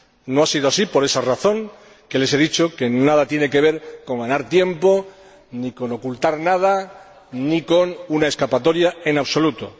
No ha sido así, por esa razón que les he dicho, que nada tiene que ver con ganar tiempo, ni con ocultar nada, ni con una escapatoria, en absoluto.